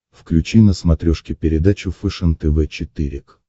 включи на смотрешке передачу фэшен тв четыре к